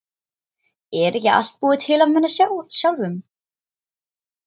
Er ekki allt búið til af manni sjálfum?